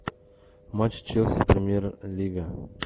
матч челси премьер лига